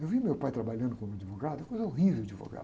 Eu via meu pai trabalhando como advogado, coisa horrível advogado.